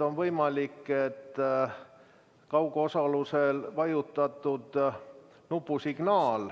On võimalik, et kaugosaluse korral antud nupusignaal,